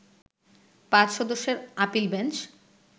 ৫ সদস্যের appeal bench